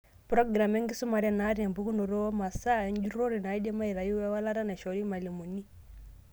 Program enkisumare naata empukunoto womasaa enjurrore naidim aitayu ewaklata naishori irmalimuni.